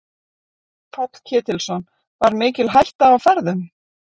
Páll Ketilsson: Var mikil hætta á ferðum?